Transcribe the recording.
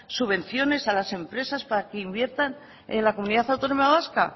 subvenciones a las empresas para que inviertan en la comunidad autónoma vasca